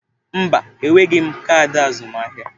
Mba, enweghị m kaadị azụmaahịa.